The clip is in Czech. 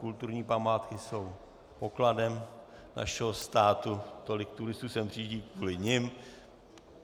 Kulturní památky jsou pokladem našeho státu, tolik turistů sem přijíždí kvůli nim.